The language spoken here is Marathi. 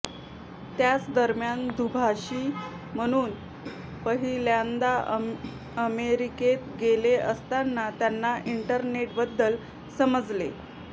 त्याच दरम्यान दुभाषी म्हणून पहिल्यांदा अमेरिकेत गेले असताना त्यांना इंटरनेटबद्दल समजले